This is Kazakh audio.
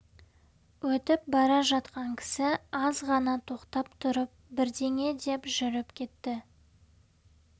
өтіп бара жатқан кісі аз ғана тоқтап тұрып бірдеңе деп жүріп кетті